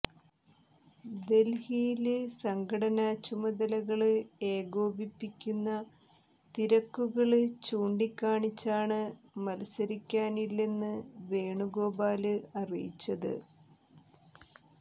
ദല്ഹിയില് സംഘടനാ ചുമതലകള് ഏകോപിപ്പിക്കുന്ന തിരക്കുകള് ചൂണ്ടിക്കാണിച്ചാണ് മത്സരിക്കാനില്ലെന്ന് വേണുഗോപാല് അറിയിച്ചത്